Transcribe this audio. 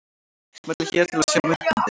Smellið hér til að sjá myndbandið.